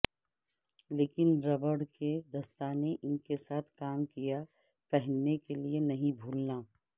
لیکن ربڑ کے دستانے ان کے ساتھ کام کیا پہننے کے لئے نہیں بھولنا